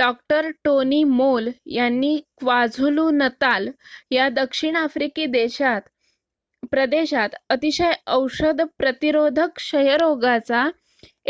डॉ. Tony Moll यांनी KwaZulu Natal या दक्षिण आफ्रिकी प्रदेशात अतिशय औषध प्रतिरोधक क्षयरोगाचा